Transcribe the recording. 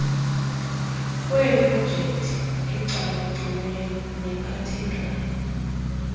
lweeprojekthi ecakaciweyo nephathekayo